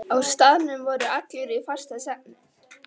Á staðnum voru allir í fastasvefni.